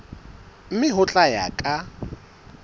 mme ho tla ya ka